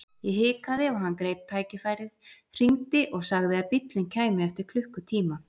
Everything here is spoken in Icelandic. Ég hikaði og hann greip tækifærið, hringdi og sagði að bíllinn kæmi eftir klukkutíma.